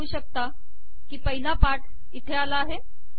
तुम्ही पाहू शकता की पहिला पाठ इथे आला आहे